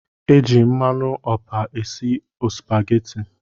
E ji mmanụ ọpa esi ospaghetti